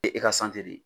E e ka de